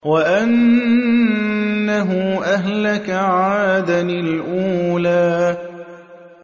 وَأَنَّهُ أَهْلَكَ عَادًا الْأُولَىٰ